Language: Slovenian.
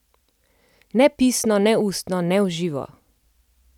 Ne pisno, ne ustno, ne v živo!